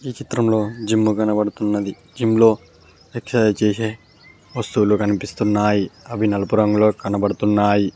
ఈ చిత్రంలో జిమ్ కనపడుతున్నది జిమ్ లో ఎక్సర్సైజ్ చేసే వస్తువులు కనిపిస్తున్నాయి అవి నలుపు రంగులో కనబడుతున్నాయి.